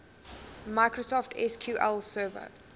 microsoft sql server